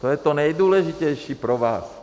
To je to nejdůležitější pro vás.